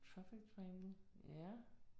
Perfect framing, ja